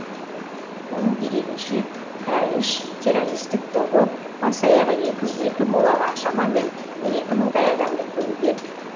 оның дерегінше даиш террористік тобы бас аяғы екі жүз екі молаға шамамен он екі мыңдай адамды көмген